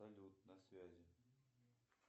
салют на связи